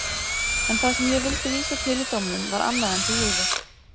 En það sem ég vildi vísa til í dómnum var annað en þú hugðir.